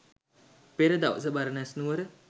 පෙර දවස බරණැස් නුවර